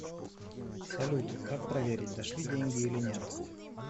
салют как проверить дошли деньги или нет